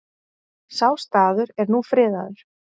Sá staður er nú friðaður.